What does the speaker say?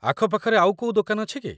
ଆଖପାଖରେ ଆଉ କୋଉ ଦୋକାନ ଅଛି କି?